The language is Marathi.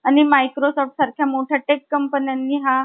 आणि microsoft सारख्या मोठ्या टेक कंपन्यांनी ,